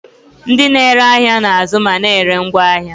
Ndị na-ere ahịa na-azụ ma na-ere ngwaahịa.